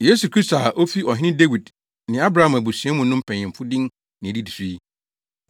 Yesu Kristo a ofi Ɔhene Dawid ne Abraham abusua mu no mpanyimfo din na edidi so yi: